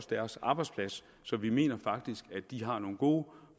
deres arbejdsplads så vi mener faktisk at de har nogle gode